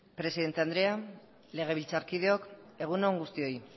presidente andrea legebiltzarkideok egun on guztioi